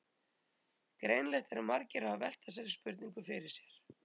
Greinilegt er að margir hafa velt þessari spurningu fyrir sér.